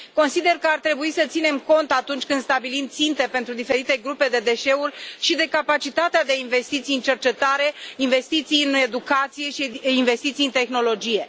Consider că ar trebui să ținem cont atunci când stabilim ținte pentru diferite grupe de deșeuri și de capacitatea de investiții în cercetare, investiții în educație și investiții în tehnologie.